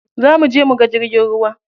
Za muje muga jirgin ruwa.